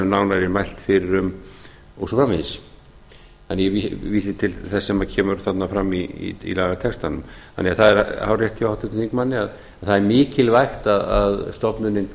nánar er mælt fyrir um og svo framvegis þannig að ég vísa til þess sem kemur fram í lagatextanum þannig að það er hárrétt hjá háttvirtum þingmanni þannig að það er mikilvægt að stofnunin